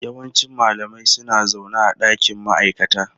Yawancin malamai suna zaune a dakin ma'aikata.